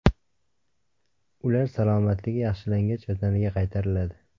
Ular salomatligi yaxshilangach, vataniga qaytariladi.